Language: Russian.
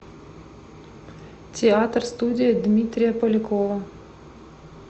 театр студия дмитрия полякова